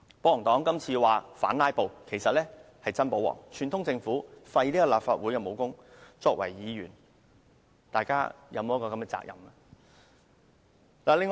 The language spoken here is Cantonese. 保皇黨這次說是反"拉布"，實際是真保皇，串通政府廢除立法會的武功，我們作為議員，是否有責任阻止呢？